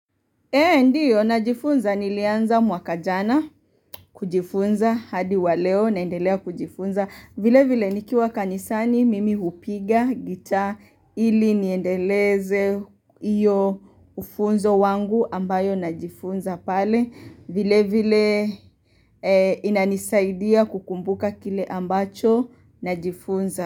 Ee ndiyo najifunza nilianza mwaka jana kujifunza hadi wa leo naendelea kujifunza. Vile vile nikiwa kanisani mimi hupiga gitaa ili niendeleze iyo ufunzo wangu ambayo na jifunza pale. Vile vile inanisaidia kukumbuka kile ambacho najifunza.